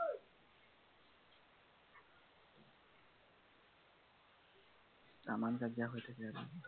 তামাম কাজিয়া হৈ থাকে আৰু